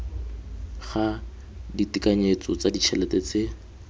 ga ditekanyetso tsa ditšhelete tse